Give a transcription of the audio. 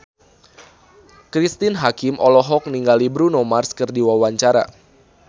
Cristine Hakim olohok ningali Bruno Mars keur diwawancara